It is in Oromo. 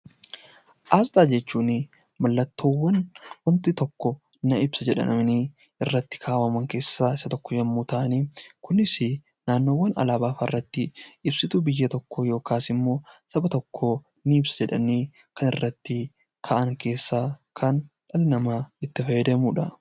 Asxaa jechuun mallattoo wanti tokko ibsa jedhamanii irra kaawwaman keessaa Isa tokko yommuu ta'an, Kunis naannoo alaabaa irratti ibsituu biyya tokkoo yookaan immoo naannoo tokko ni ibsa jedhanii kan irratti ka'an keessaa dhalli namaa itti fayyadamudha.